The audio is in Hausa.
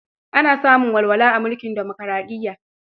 Ana samun walwala a mulkin dimokaraɗiyya.